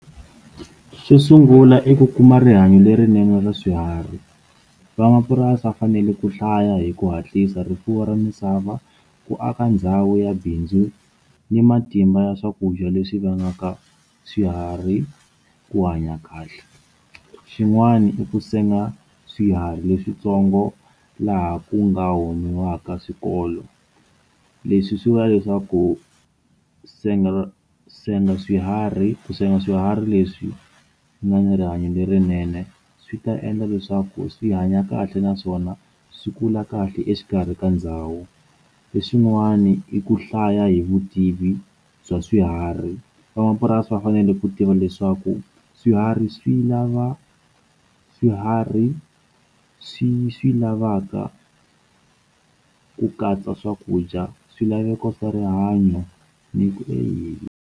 Xo sungula i ku kuma rihanyo lerinene ra swiharhi van'wamapurasi va fanele ku hlaya hi ku hatlisa rifuwo ra misava ku aka ndhawu ya bindzu ni matimba ya swakudya leswi vangaka swiharhi ku hanya kahle xin'wana i ku senga swiharhi leswitsongo laha ku nga humesiwaka swikolo leswi swi va leswaku senga senga swiharhi ku senga swiharhi leswi nga ni rihanyo lerinene swi ta endla leswaku swi hanya kahle naswona swi kula kahle exikarhi ka ndhawu leswiwani i ku hlaya hi vutivi bya swiharhi van'wamapurasi va fanele ku tiva leswaku swiharhi swi lava swiharhi swi swi lavaka ku katsa swakudya swilaveko swa rihanyo ni ku endzeni.